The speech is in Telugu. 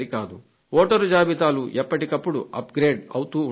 వోటరు జాబితాలు ఎప్పటికప్పుడు అప్ గ్రేడ్ అవుతూ ఉండాలి